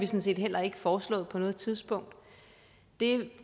set heller ikke foreslået på noget tidspunkt det